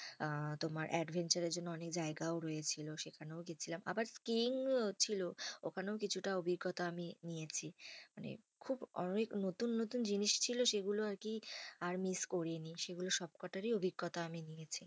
আহ তোমার adventure এর জন্য অনেক জায়গায় রয়েছিল, ওখানেও গেছিলাম। আবার ছিল, ওখানেও কিছুটা অভিজ্ঞতা আমি নিয়েছি। মানে খুব অনেক নতুন নতুন জিনিস ছিল সেগুলো আর কি আর miss করিনি। সেগুলো সবকটারই অভিজ্ঞতা আমি নিয়েছি।